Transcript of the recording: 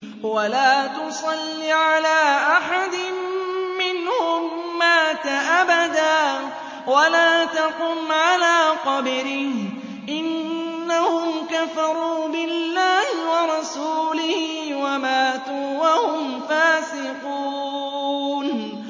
وَلَا تُصَلِّ عَلَىٰ أَحَدٍ مِّنْهُم مَّاتَ أَبَدًا وَلَا تَقُمْ عَلَىٰ قَبْرِهِ ۖ إِنَّهُمْ كَفَرُوا بِاللَّهِ وَرَسُولِهِ وَمَاتُوا وَهُمْ فَاسِقُونَ